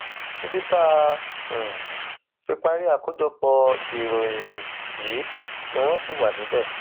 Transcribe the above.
títí tá a um fi parí àkójọpọ ìròyìn um yìí ni wọn ṣì wà níbẹ